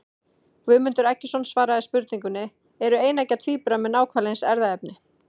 Guðmundur Eggertsson svaraði spurningunni Eru eineggja tvíburar með nákvæmlega eins erfðaefni?